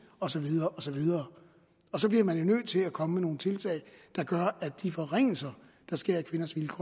og så videre og så videre og så bliver man jo nødt til at komme med nogle tiltag der gør at de forringelser der sker af kvinders vilkår